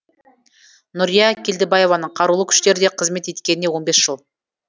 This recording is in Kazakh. нүрия келдібаеваның қарулы күштерде қызмет еткеніне он бес жыл